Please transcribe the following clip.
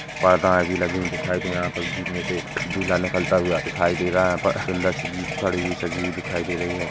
पाताएँ भी लगी हुई दिखाई दे है यहाँ पर जीप में से एक दूल्हा निकलता हुआ दिखाई दे रहा है यहाँ पर सुन्दर सी जीप खड़ी हुई सजी हुई दिखाई दे रही है।